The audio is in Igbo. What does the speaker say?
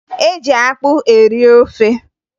E ji akpụ eri ofe